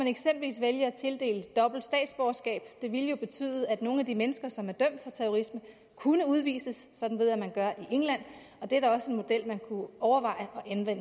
eksempelvis vælge at tildele dobbelt statsborgerskab det ville jo betyde at nogle af de mennesker som er dømt for terrorisme kunne udvises sådan ved jeg man gør i england og det er da også en model man kunne overveje